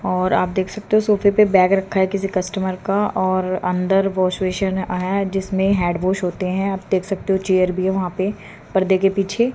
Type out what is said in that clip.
और आप देख सकते हो सोफे पे बैग रखा है किसी कस्टमर का और अंदर वाश बेसिन आ है जिसमें हैंड वॉश होते है आप देख सकते हो चेयर भी है वहां पे पर्दे के पीछे।